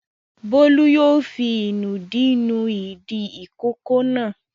Bólú yóò fi ìnùdí nu ìdí ìkókó náà.